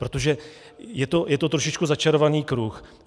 Protože je to trošičku začarovaný kruh.